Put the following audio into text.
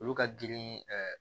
Olu ka girin